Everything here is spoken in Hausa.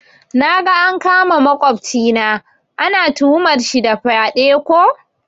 Naga an kama makwafcina, ana tuhumar sa da fyaɗe ko?